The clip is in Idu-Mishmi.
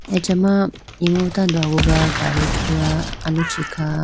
acha ma imu tando aguga gadi thruga aluchi kha.